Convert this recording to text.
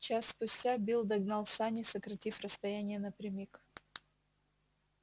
час спустя билл догнал сани сократив расстояние напрямик